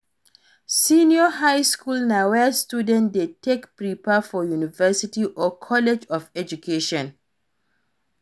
Senior highschool na where students de take prepare for university or college of education